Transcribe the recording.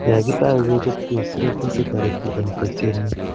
Yo kitau kechob, kesere biik che toriti eng tekset nyi